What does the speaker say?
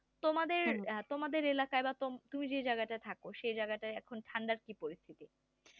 তোমাদের বা তোমাদের এলাকায় তুমি যে জায়গাতে থাকো সেই জায়গাটা এখন ঠান্ডা কি পরিস্থিতি